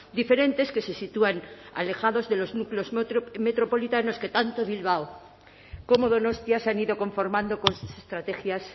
diferentes que se sitúan alejados de los núcleos metropolitanos que tanto bilbao como donostia se han ido conformando con sus estrategias